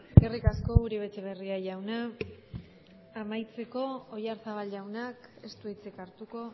eskerrik asko uribe etxebarria jauna amaitzeko oyarzabal jaunak ez du hitzik hartuko